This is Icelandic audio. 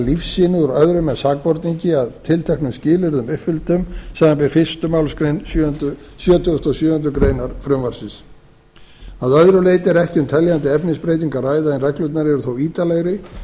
lífsýni úr öðrum en sakborningi að tilteknum skilyrðum uppfylltum samanber fyrstu málsgrein sjötugustu og sjöundu greinar frumvarpsins að öðru leyti er ekki um teljandi efnisbreytingu að ræða en reglurnar eru þó ítarlegri